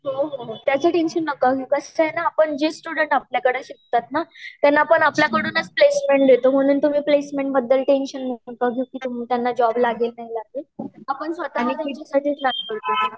हो हो त्याच टेंशन नका घेऊ कसा आहे न जे स्टूडेंट आपल्या कडे शिकतात ना त्यांना आपण आपल्या कडूनच प्लेसमेंट देतो म्हणून तुम्ही प्लेसमेंट बद्दला टेंशन नका घेऊ त्यना जॉब लागेल नाही लागेल आपण स्वतः मी पण